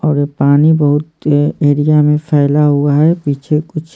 और ये पानी बहुत एरिया में फैला हुआ है पीछे कुछ--